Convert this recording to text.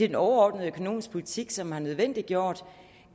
den overordnede økonomiske politik som har nødvendiggjort